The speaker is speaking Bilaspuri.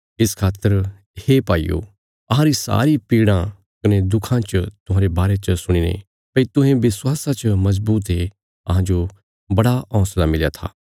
इस खातर हे भाईयो अहांरी सारी पीड़ां कने दुखां च तुहांरे बारे च सुणीने भई तुहें विश्वासा च मजबूत ये अहांजो बड़ा हौंसला मिलया था